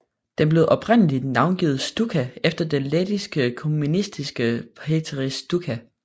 Den blev oprindeligt navngivet Stučka efter den lettiske kommunist Pēteris Stučka